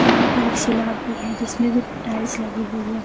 यहाँ पर स्लॉट भी है जिसमे टाइल्स लगे हुए हैं।